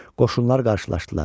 Qoşunlar qarşılaşdılar.